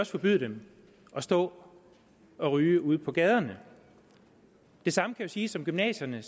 forbyde dem at stå og ryge ude på gaderne det samme kan jo siges om gymnasierne